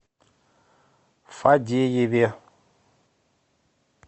фадееве